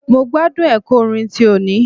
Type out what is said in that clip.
Mo gbádùn ẹ̀kọ́ orin ti òní.